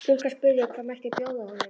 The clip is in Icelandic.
Stúlkan spurði hvað mætti bjóða honum.